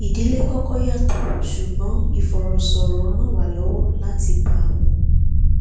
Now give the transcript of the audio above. ìdílé kọkọ yàtọ ṣùgbọn ìfọrọsọrọ ràn wá lọwọ lati ba a mu